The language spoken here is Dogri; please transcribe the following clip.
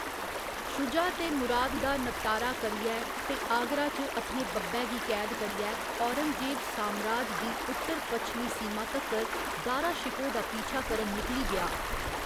शुजा ते मुराद दा नबटारा करियै, ते आगरा च अपने बब्बै गी कैद करियै, औरंगजेब सामराज दी उत्तर पच्छमी सीमा तक्कर दारा शिकोह दा पीछा करन निकली गेआ।